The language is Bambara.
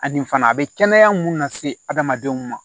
Ani fana a bɛ kɛnɛya mun lase adamadenw ma